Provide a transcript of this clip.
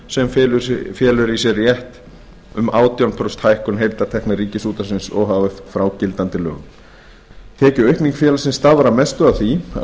sem felur í sér rétt um átján prósent hækkun heildartekna ríkisútvarpsins o h f frá gildandi lögum tekjuaukning félagsins stafar að mestu af því að